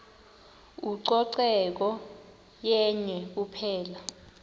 ucoceko yenye kuphela